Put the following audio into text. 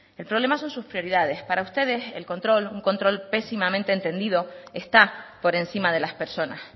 el problema son sus prioridades para ustedes el control un control pésimamente entendido está por encima de las personas